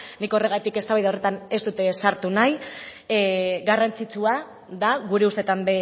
nik horregatik eztabaida horretan ez dut sartu nahi garrantzitsua da gure ustetan